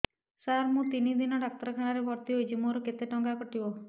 ସାର ମୁ ତିନି ଦିନ ଡାକ୍ତରଖାନା ରେ ଭର୍ତି ହେଇଛି ମୋର କେତେ ଟଙ୍କା କଟିବ